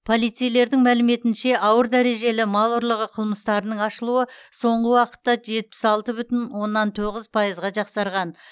полицейлердің мәліметінше ауыр дәрежелі мал ұрлығы қылмыстарының ашылуы соңғы уақытта жетпіс алты бүтін оннан тоғыз пайызға жақсарған